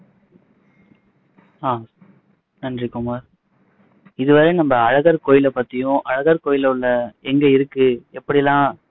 அஹ் நன்றி குமார் இது வரையும் நம்ம அழகர் கோயிலை பத்தியும் அழகர் கோயில்ல உள்ள எங்க இருக்கு எப்படியெல்லாம்